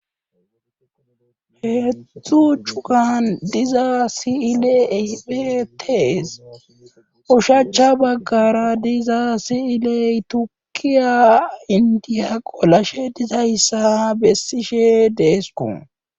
Heedzdzu cugan diza sile betes ushacha baggara diza siiley tuukiya indiya qolashe dizayssa ha bessishe deesko.